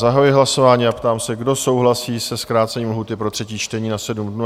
Zahajuji hlasování a ptám se, kdo souhlasí se zkrácením lhůty pro třetí čtení na 7 dnů?